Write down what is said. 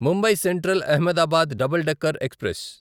Mumbai central Ahmedabad double decker express